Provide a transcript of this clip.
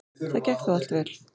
Það gekk þó allt vel.